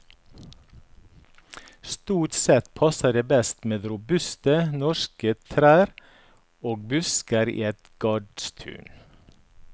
Stort sett passer det best med robuste, norske trær og busker i et gardstun.